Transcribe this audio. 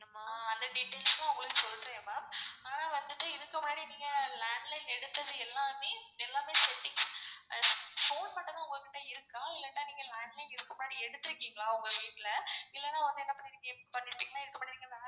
ஆஹ் அந்த details ம் உங்களுக்கு சொல்றேன். mam. அனா வந்துட்டு இதுக்கு முன்னாடி நீங்க landline எடுத்தது எல்லாமே phone பண்ணதும் உங்ககிட்ட இல்லனா நீங்க landline இதுக்கு முன்னாடி எடுதுருக்கீங்களா? உங்க வீட்ல இல்லனா வந்து